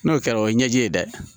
N'o kɛra o ye ɲɛji ye dɛ